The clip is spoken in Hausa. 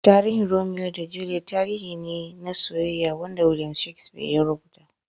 Tarihin Romeo da Juliet tarihi ne na soyyeya Wanda Williams Shakespeare ya rubuta.